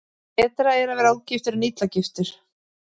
Betra er að vera ógiftur en illa giftur.